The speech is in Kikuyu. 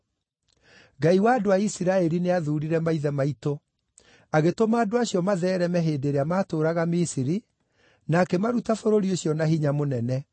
Ngai wa andũ a Isiraeli nĩathuurire maithe maitũ; agĩtũma andũ acio matheereme hĩndĩ ĩrĩa maatũũraga Misiri, na akĩmaruta bũrũri ũcio na hinya mũnene,